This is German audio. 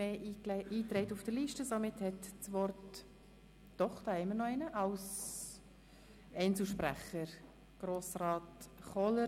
– Doch, ich sehe gerade, dass es noch einen Redner als Einzelsprecher gibt, Grossrat Kohler.